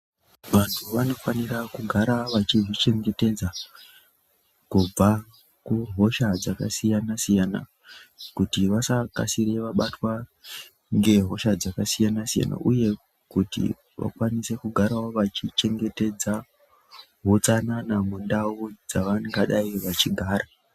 Vantu vanofanira kugara vachizvichengetedza kubva kuhosha dzakasiyana siyana kuti vasakasira kubatws ngehosha dzakasiyana siyana kuti vakwanisewo kugara vachivhengetedza utsanana mundau dzavangadai vachigara.